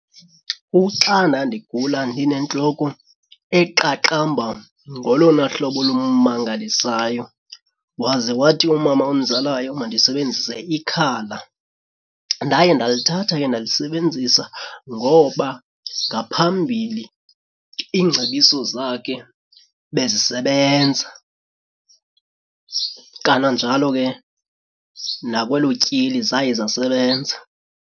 Uxa ndandigula ndinentloko eqaqamba ngolona hlobo olumangalisayo waze wathi umama ondizalayo mandisebenzise ikhala. Ndaye ndalithatha ke ndalisebenzisa ngoba ngaphambili ingcebiso zakhe bezisebenza, kananjalo ke nakwelo tyeli zaye zasebenza.